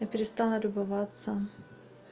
я перестала любоваться